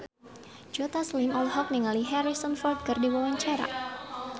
Joe Taslim olohok ningali Harrison Ford keur diwawancara